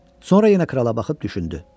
Sonra yenə krala baxıb düşündü.